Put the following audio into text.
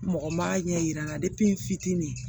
Mɔgɔ ma ɲɛ yira n na n fitinin